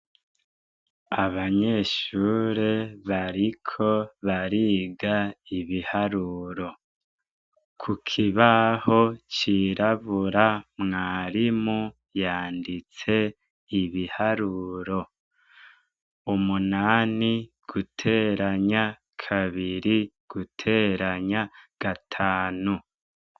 Abanyeshure bariko bariga ibiharuro. Ku kibaho cirabura, mwarimu yanditse ibiharuro umunani guteranya kabiri, guteranya gatanu.